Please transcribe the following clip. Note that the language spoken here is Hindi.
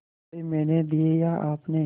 रुपये मैंने दिये या आपने